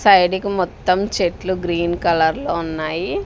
Side కి మొత్తం చెట్లు గ్రీన్ కలర్ లో ఉన్నాయి.